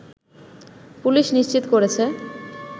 police নিশ্চিত করেছে